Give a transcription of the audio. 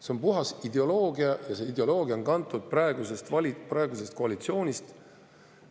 See on puhas ideoloogia ja see ideoloogia on kantud praeguse koalitsiooni.